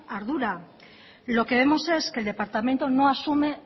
ardura lo que vemos es que el departamento no asume